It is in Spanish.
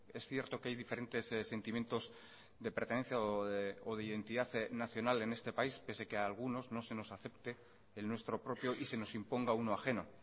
es cierto que hay diferentes sentimientos de pertenencia o de identidad nacional en este país pese que a algunos no se nos acepte el nuestro propio y se nos imponga uno ajeno